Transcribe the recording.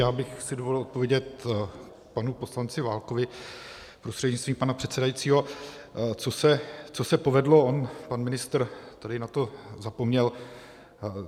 Já bych si dovolil odpovědět panu poslanci Válkovi, prostřednictvím pana předsedajícího, co se povedlo, on pan ministr tady na to zapomněl.